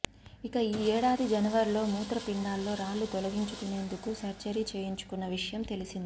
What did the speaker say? ఇక ఈ ఏడాది జనవరిలో మూత్ర పిండాల్లో రాళ్లు తొలగించుకునేందుకు సర్జరీ చేయించుకున్న విషయం తెలిసిందే